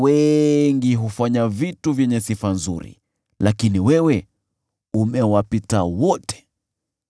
“Wanawake wengi hufanya vitu vyenye sifa nzuri, lakini wewe umewapita wote.”